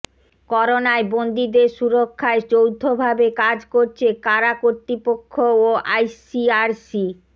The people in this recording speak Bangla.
করোনায় বন্দিদের সুরক্ষায় যৌথভাবে কাজ করছে কারা কর্তৃপক্ষ ও আইসিআরসি